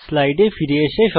স্লাইডে ফিরে আসুন